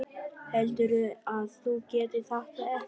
Heldurðu að þú getir þetta ekki?